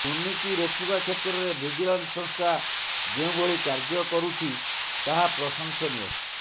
ଦୁର୍ନୀତି ରୋକିବା କ୍ଷେତ୍ରରେ ଭିଜିଲାନ୍ସ ସଂସ୍ଥା ଯେଉଁଭଳି କାର୍ଯ୍ୟ କରୁଛି ତାହା ପ୍ରଶଂସନୀୟ